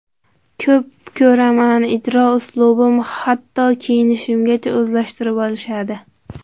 Ko‘p ko‘raman, ijro uslubim, hatto kiyinishimgacha o‘zlashtirib olishadi.